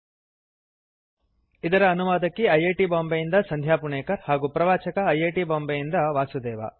httpspoken tutorialorgNMEICT Intro ಇದರ ಅನುವಾದಕಿ I I T Bombay ಯಿಂದ ಸಂಧ್ಯಾ ಪುಣೇಕರ್ ಹಾಗೂ ಪ್ರವಾಚಕ ಐ ಐ ಟಿ ಬಾಂಬೆಯಿಂದ ವಾಸುದೇವ